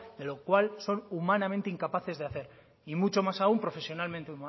de lo cual so humanamente incapaces de hacer y muchos más aún profesionalmente